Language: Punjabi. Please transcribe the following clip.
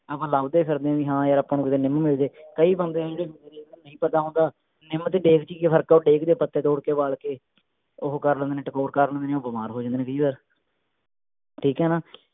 ਆਪਾਂ ਲਭਦੇ ਫਿਰਦੇ ਹੈ ਵੀ ਹਾਂ ਯਾਰ ਆਪਾਂ ਨੂੰ ਕੀਤੇ ਨਿੱਮ ਮਿਲ ਜੇ ਕਈ ਬੰਦੇ ਇਹੋਜੇ ਨੇ ਜਿਹਨੂੰ ਨਹੀਂ ਪਤਾ ਹੁੰਦਾ ਨਿੱਮ ਤੇ ਡੇਕ ਚ ਕਿ ਫਰਕ ਆ ਉਹ ਡੇਕ ਦੇ ਪੱਤੇ ਵਾਲ ਕੇ ਉਹ ਕਰ ਲੈਂਦੇ ਟਕੋਰ ਕਰ ਲੈਂਦੇ ਉਹ ਬਿਮਾਰ ਹੋ ਜਾਂਦੇ ਨੇ ਕਈ ਵਾਰ ਠੀਕ ਹੈ ਨਾ